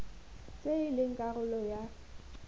tse e leng karolo ya